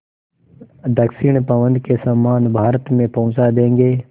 दक्षिण पवन के समान भारत में पहुँचा देंगी